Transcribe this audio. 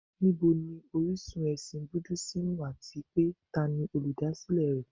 Níbo ni orísun ẹ̀sìn Búdísìmù àti pé tani olùdásílẹ̀ rẹ̀?